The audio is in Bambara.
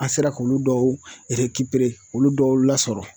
An sera k'olu dɔw yɛrɛ olu dɔw lasɔrɔ